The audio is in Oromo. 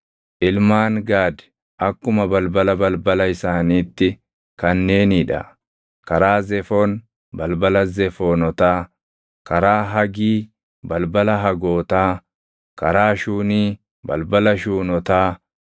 Ilmaan Gaad akkuma balbala balbala isaaniitti kanneenii dha: karaa Zefoon, balbala Zefoonotaa; karaa Hagii, balbala Hagootaa; karaa Shuunii, balbala Shuunotaa;